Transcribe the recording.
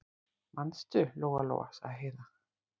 Manstu, Lóa-Lóa, sagði Heiða.